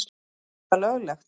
Er þetta löglegt?